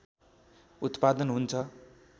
उत्पादन हुन्छ